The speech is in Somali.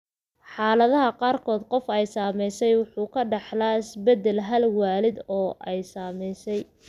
Xaaladaha qaarkood, qof ay saamaysay waxa uu ka dhaxlaa beddelka hal waalid oo ay saamaysay.